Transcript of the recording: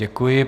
Děkuji.